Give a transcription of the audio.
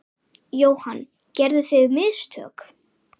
Jóhann: Gerðuð þið mistök?